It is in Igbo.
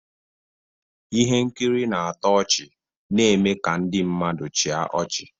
Ihe nkiri na-atọ ọchị na-eme ka ndị mmadụ chịa ọchị